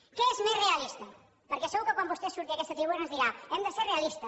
què és més realista perquè segur que quan vostè surti en aquesta tribuna ens dirà hem de ser realistes